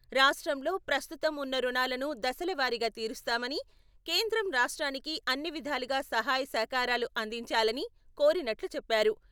రాష్ట్రంలో ప్రస్తుతం ఉన్న రుణాలను దశలవారీగా తీరుస్తామని, కేంద్రం రాష్ట్రానికి అన్ని విధాలుగా సహాయ సహకారాలు అందించాలని కోరినట్లు చెప్పారు.